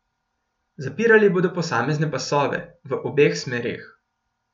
Zapirali bodo posamezne pasove v obeh smereh.